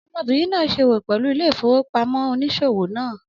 Ọmọbìnrin náà se òwò pẹlú ilé ìfowópamọ́ oníṣòwò náà